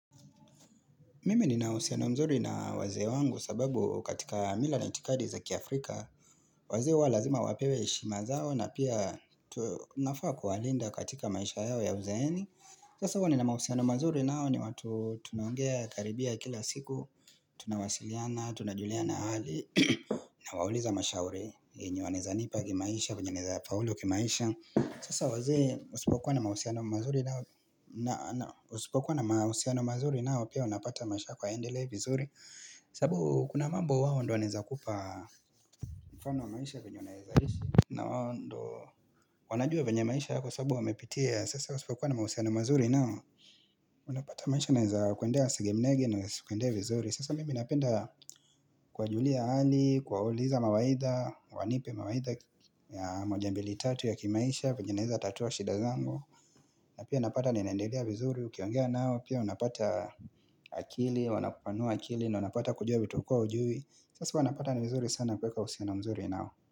Mimi nina husiano mzuri na wazee wangu sababu katika mila na itikadi za kiafrika wazee huwa lazima wapewe heshima zao na pia tu nafaa kuwalinda katika maisha yao ya uzeeni Sasa huo ni na mahusiano mzuri nao ni watu tunongea karibia kila siku Tunawasiliana, tunajuliana hali na wauliza mashauri yenye wanaweza nipa kimaisha, venye naweza faulu kimaisha Sasa wazee usipokuwa na mahusiano mzuri nao na, na, usipokuwa na mahusiano mazuri nao Pia unapata maisha yako hayaendelei vizuri sababu kuna mambo wao ndo wanaweza kupa kwa mfano wa maisha venye unaweza ishi na wawo ndo wanajua venye maisha yako sababu wamepitia Sasa usipokuwa na mahusiano mazuri nao Unapata maisha inaweza kuendea sege mnegi na kuendea vizuri Sasa mimi napenda kuwajulia hali, kuwauliza mawaidha Wanipe mawaidha mojambili tatu ya kimaisha venye naweza tatua shida zangu na pia napata ninendelea vizuri ukiongea nao Pia unapata akili, wanapanua akili na unapata kujua vitu hukua ujui Sasa wanapata ni vizuri sana kuweka uhusiano mzuri nao.